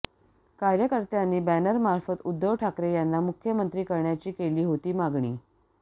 कार्यकर्त्यांनी बॅनरमार्फत उद्धव ठाकरे यांना मुख्यमंत्री करण्याची केली होती मागणी